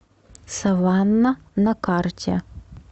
саванна на карте